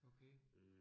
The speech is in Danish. Okay